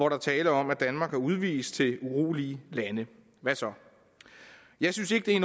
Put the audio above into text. er tale om at danmark har udvist til urolige lande hvad så jeg synes ikke det er